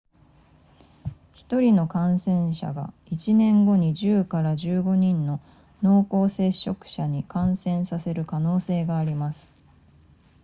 1人の感染者が1年後に 10～15 人の濃厚接触者に感染させる可能性があります